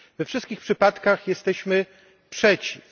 We wszystkich przypadkach jesteśmy przeciw.